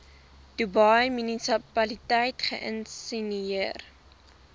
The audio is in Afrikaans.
dubai munisipaliteit geïnisieer